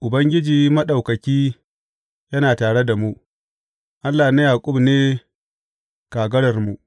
Ubangiji Maɗaukaki yana tare da mu; Allah na Yaƙub ne kagararmu.